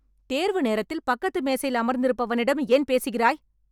தேர்வு நேரத்தில் பக்கத்து மேசையில் அமர்ந்திருப்பவனிடம் ஏன் பேசுகிறாய்?